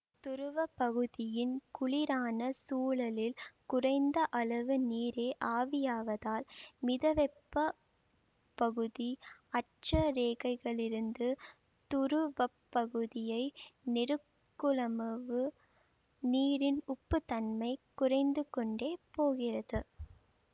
துருவப்பகுதியின் குளிரான சூழலில் குறைந்த அளவு நீரே ஆவியாவதால் மிதவெப்ப பகுதி அட்ச ரேகைகளிலிருந்து துருவப்பகுதியை நெருக்குமளவு நீரின் உப்பு தன்மை குறைந்துகொண்டே போகிறது